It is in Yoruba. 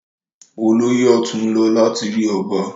Olóyè ọ̀tún ń lọ láti rí ọba.